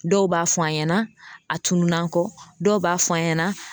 Dɔw b'a fɔ an ɲɛna a tunun'an kɔ dɔw b'a fɔ an ɲɛna